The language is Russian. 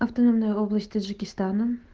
автономная область таджикистана